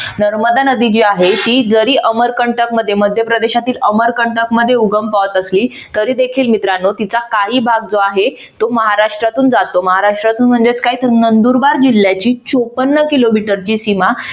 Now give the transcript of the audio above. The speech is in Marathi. नर्मदा नदी जी आहे ती जरी अमर कंटक मध्ये मध्यप्रदेशातील अमर कंटक मध्ये उगम पावत असली तरी देखील मित्रानो तिचा काही भाग जो आहे तो महाराष्ट्रातून जातो. महाराष्ट्रातून म्हणजेच काय तर नंदुरबार जिल्ह्याची चोपन्न किलोमीटरची सीमा